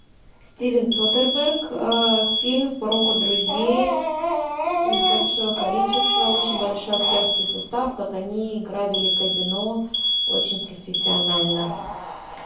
стивен содерберг фильм про друзей их большое количество очень большой актерский состав как они грабили казино очень профессионально